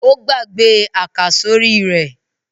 Ó gbàgbé àkàsórí rẹ̀.